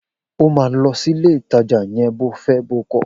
O máa lọ sílé ìtajà yẹn bo fẹ́ bo kọ̀!